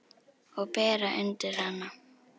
Og bera undir hana.